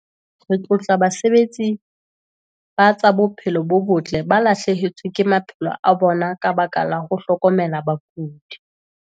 Re tlotla basebetsi ba tsa bophelo bo botle ba lahlehetsweng ke maphelo a bona ka lebaka la ho hlokomela bakudi.